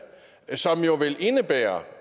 som jo vil indebære